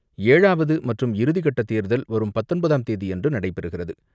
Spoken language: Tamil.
ஏழாவது மற்றும் இறுதி கட்ட தேர்தல் வரும் பத்தொன்பதாம் தேதியன்று நடைபெறுகிறது.